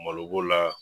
Malo b'o la